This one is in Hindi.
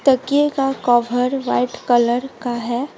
तकिए का कभर व्हाइट कलर का है।